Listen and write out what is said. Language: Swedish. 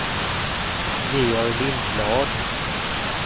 Georg Lindblad